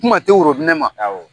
Kuma tɛ woninɛ ma